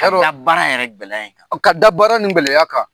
Ka da baara yɛrɛ gɛlɛya kan ka da baara nin gɛlɛya kan.